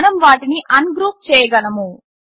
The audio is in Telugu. మనం వాటిని అన్గ్రూప్ చేయగలము